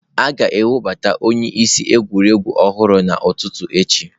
A ga-ewebata onyeisi egwuregwu ọhụrụ n'ụtụtụ echi.